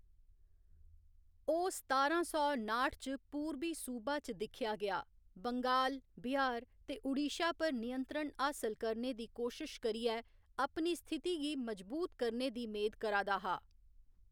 ओह्‌‌ सतारां सौ नाठ च पूरबी सूबा च दिक्खेया गेआ, बंगाल, बिहार ते ओडिशा पर नियंत्रण हासल करने दी कोशश करियै अपनी स्थिति गी मजबूत करने दी मेद करा दा हा।